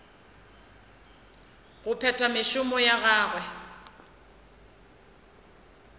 go phetha mešomo ya gagwe